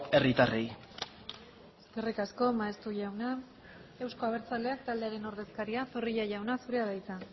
herritarrei eskerrik asko maeztu jauna euzko abertzaleak taldearen ordezkaria zorrilla jauna zurea da hitza